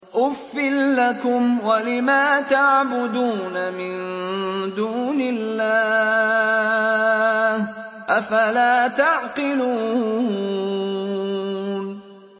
أُفٍّ لَّكُمْ وَلِمَا تَعْبُدُونَ مِن دُونِ اللَّهِ ۖ أَفَلَا تَعْقِلُونَ